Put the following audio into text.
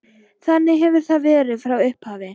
Þannig hefur það verið frá upphafi.